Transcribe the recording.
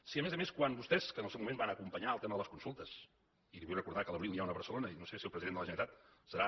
si a més a més quan vostès que en el seu moment van acompanyar el tema de les consultes i li vull recordar que a l’abril n’hi ha una a barcelona i no sé si el president de la generalitat serà